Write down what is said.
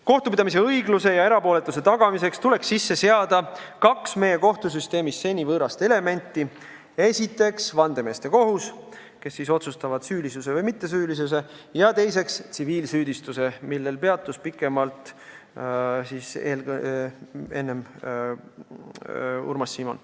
Kohtupidamise õigluse ja erapooletuse tagamiseks tuleb sisse seada kaks meie kohtusüsteemis seni võõrast elementi: vandemeeste kohus, kes otsustab süülisuse või mittesüülisuse üle, ja tsiviilsüüdistus, millel peatus pikemalt enne Urmas Simon.